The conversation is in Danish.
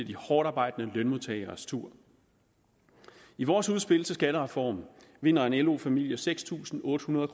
de hårdtarbejdende lønmodtageres tur i vores udspil til en skattereform vinder en lo familie seks tusind otte hundrede